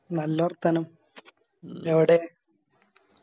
നല്ല വർത്താനം എവിടെ